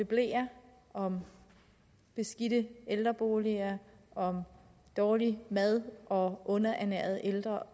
bleer om beskidte ældreboliger om dårlig mad og underernærede ældre